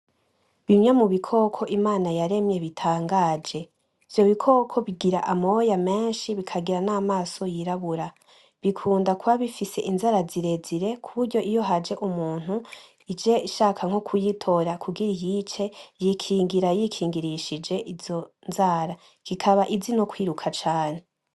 Bimwe mubikoko Imana yaremye bitangaje ivyo bikoko bigira amoya meshi bikagira n'amaso yirabura bikunda kuba bifise inzara zirezire kuburyo iyo haje umuntu ije ishaka nko kuyitora kugira iyice yikingira yikingirishije izo nzara `kikaba izi no kwiruka cane .